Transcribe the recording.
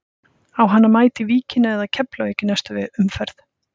Á hann að mæta í Víkina eða Keflavík í næstu umferð?